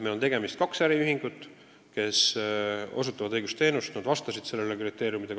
Meil on kaks äriühingut, kes osutavad õigusteenust, kuna nad vastasid nõutud kriteeriumidele.